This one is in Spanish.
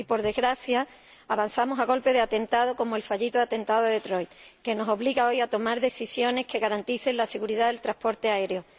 Y, por desgracia, avanzamos a golpe de atentado, como el fallido atentado de Detroit, que nos obliga hoy a tomar decisiones que garanticen la seguridad del transporte aéreo.